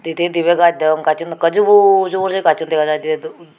pijedi dibi gaj degong gachun ekke jubur jubur se gachun dega jai de.